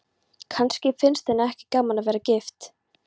Kannski finnst henni ekki gaman að vera gift.